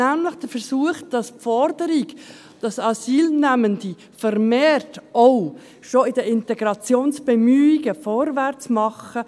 Es ist nämlich der Versuch, die Forderung ernst zu nehmen, dass Asylnehmende auch schon in den Integrationsbemühungen vermehrt vorwärts machen.